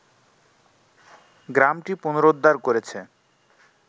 গ্রামটি পুনরুদ্ধার করেছে